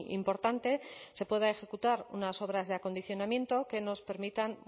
importante se pueda ejecutar unas obras de acondicionamiento que nos permitan